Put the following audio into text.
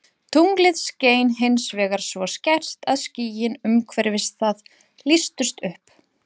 Tunglið skein hins vegar svo skært að skýin umhverfis það lýstust upp.